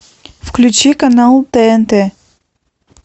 включи канал тнт